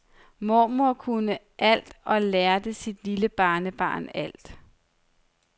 Mormor kunne alt og lærte sit lille barnebarn alt.